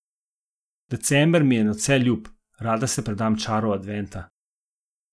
December mi je nadvse ljub, rada se predam čaru adventa.